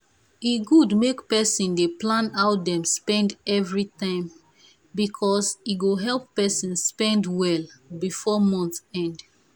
e good make person dey plan how dem spend everytime because e go help person spend well before month end.